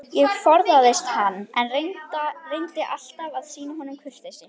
Ég forðaðist hann, en reyndi alltaf að sýna honum kurteisi.